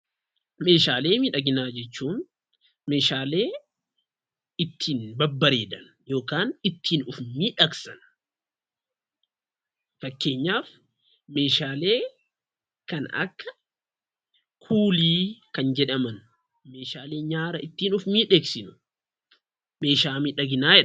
Meeshaalee miidhaginaa jechuun meeshaalee ittiin babbareedan yookaan ittiin of miidhagsan fakkeenyaaf meeshaalee akka kuulii kan jedhaman kan ittiin nyaara of miidhagsinu meeshaa miidhaginaa jedhamu.